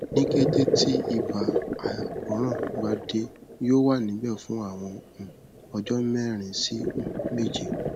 ni kete ti iba akoran ba de yoo wa nibẹ fun awọn um ọjọ merin si um meje